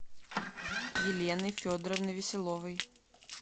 елены федоровны веселовой